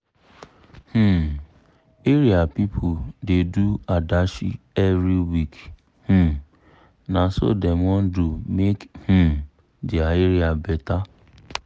um area pipu da do adashi every week um na so dem wan do make um dia area better